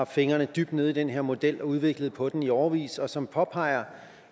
fingrene dybt nede i den her model og udviklet på den i årevis og som påpeger